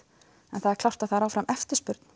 en það er klárt að það er ennþá eftirspurn